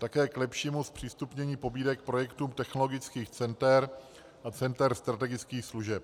Také k lepšímu zpřístupnění pobídek projektům technologických center a center strategických služeb.